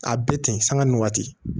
A bɛ ten sanga ni waati